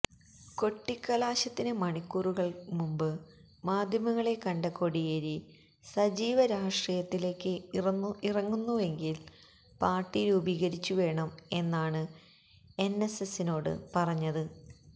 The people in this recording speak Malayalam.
കൊട്ടിക്കലാശത്തിന് മണിക്കൂറുകള് മുന്പ് മാധ്യമങ്ങളെ കണ്ട കോടിയേരി സജീവ രാഷ്ട്രീയത്തിലേക്ക് ഇറങ്ങുന്നുവെങ്കില് പാര്ട്ടി രൂപീകരിച്ചു വേണം എന്നാണ് എന്എസ്എസിനോട് പറഞ്ഞത്